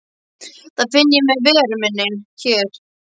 Það finn ég með veru minni hér.